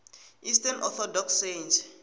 eastern orthodox saints